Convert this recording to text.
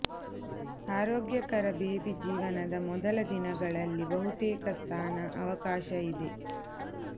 ಆರೋಗ್ಯಕರ ಬೇಬಿ ಜೀವನದ ಮೊದಲ ದಿನಗಳಲ್ಲಿ ಬಹುತೇಕ ಸ್ನಾನ ಅವಕಾಶ ಇದೆ